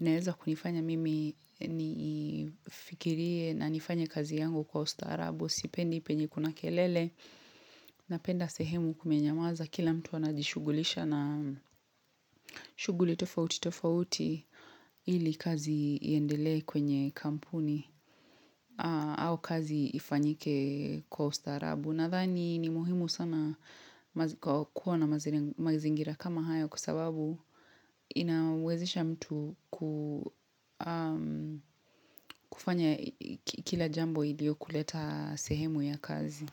inaeza kunifanya mimi nifikirie na nifanye kazi yangu kwa ustarabu. Sipendi, penye kuna kelele. Napenda sehemu kumenyamaza kila mtu anajishugulisha na shughuli tofauti tofauti ili kazi iendelee kwenye kampuni au kazi ifanyike kwa ustarabu. Nadhani ni muhimu sana kuwa na mazingira kama haya kwa sababu inawezesha mtu kufanya kila jambo ndio kuleta sehemu ya kazi.